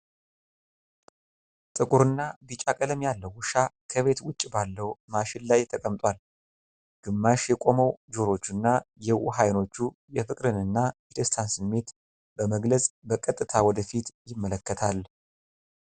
ጥቁርና ቢጫ ቀለም ያለው ውሻ ከቤት ውጭ ባለው ማሽን ላይ ተቀምጧል። ግማሽ የቆሙ ጆሮዎችና የዋህ አይኖቹ የፍቅርንና የደስታን ስሜት በመግለጽ፣ በቀጥታ ወደ ፊት ይመለከታል።